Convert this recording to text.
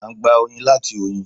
À n gbà oyin láti oyin